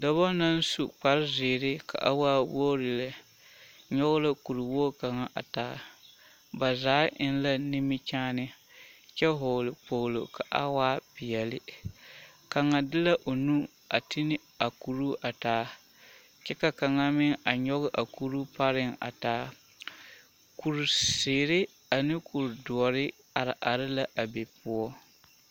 Dɔba naŋ su kparezeere ka waa wogre lɛ nyɔge la kuri wogi kaŋa a taa ba zaa eŋ la nimikyaane kyɛ vɔgle kpoglo ka a waa peɛlle kaŋa de la o nu a ti ne a kuruu a taa kyɛ ka kaŋa meŋ a nyɔge a kuruu pareŋ a taa kurizeere ane kuridoɔre are are la a be poɔ.